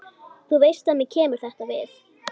Þú veist að mér kemur þetta við.